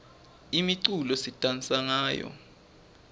imiculo sidansa ngayo